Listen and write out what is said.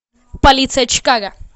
полиция чикаго